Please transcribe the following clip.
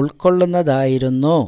ഉൾക്കൊള്ളുന്നതായിരുന്നു